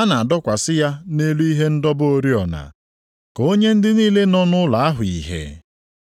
a na-adọkwasị ya nʼelu ihe ịdọba oriọna, ka o nye ndị niile nọ nʼụlọ ahụ ìhè.